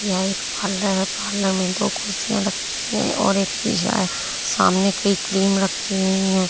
यह एक पार्लर है। पार्लर में दो कुर्सियां रखी है और एक शीशा है सामने कई क्रीम रखी हुई है।